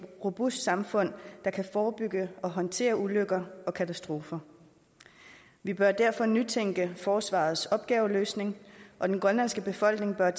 robust samfund der kan forebygge og håndtere ulykker og katastrofer vi bør derfor nytænke forsvarets opgaveløsning og den grønlandske befolkning bør